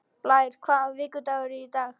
Blær, hvaða vikudagur er í dag?